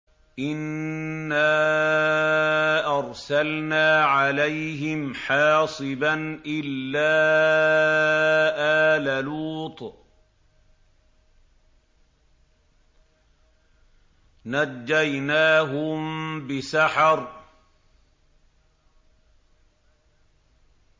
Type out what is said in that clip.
إِنَّا أَرْسَلْنَا عَلَيْهِمْ حَاصِبًا إِلَّا آلَ لُوطٍ ۖ نَّجَّيْنَاهُم بِسَحَرٍ